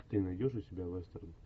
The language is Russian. ты найдешь у себя вестерн